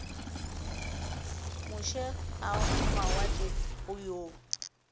moše a mawatle go yo